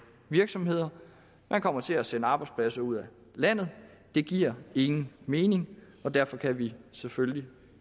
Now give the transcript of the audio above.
virksomheder man kommer til at sende arbejdspladser ud af landet det giver ingen mening og derfor kan vi selvfølgelig